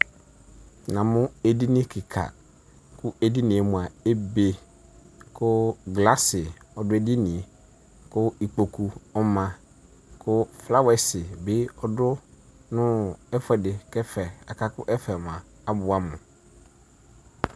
namo edini keka ko edinie moa ebe ko glass ɔdo edinie ko ikpoku ɔma ko flowers bi ɔdo no ɛfuɛ di ko aka ko ɛfɛ moa aboɛ amo